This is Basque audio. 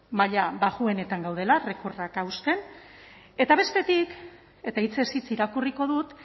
maila baxuenetan gaudela recordak hausten eta bestetik eta hitzez hitz irakurriko dut